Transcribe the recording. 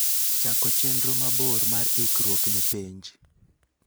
chako chenro mabor mar ikruok ne penj.